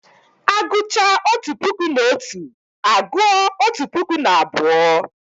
A gụchaa otu puku na otu, a gụọ otu puku na abụọ